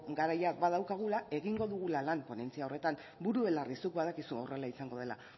garaia badaukagula egingo dugula lan ponentzia horretan buru belarri zuk badakizu horrela izango dela